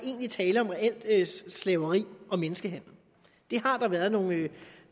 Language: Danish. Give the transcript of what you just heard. er tale om reelt slaveri og menneskehandel det har der været nogle